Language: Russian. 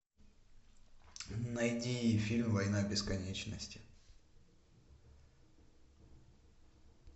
найди фильм война бесконечности